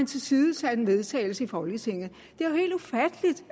tilsidesat en vedtagelse i folketinget